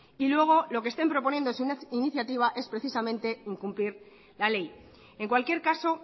y luego lo que estén proponiendo sea una iniciativa es precisamente incumplir la ley en cualquier caso